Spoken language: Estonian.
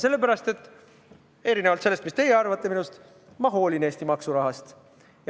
Sellepärast, et erinevalt sellest, mida teie arvate minust, ma hoolin Eesti maksurahast.